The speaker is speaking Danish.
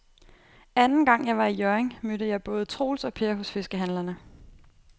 Anden gang jeg var i Hjørring, mødte jeg både Troels og Per hos fiskehandlerne.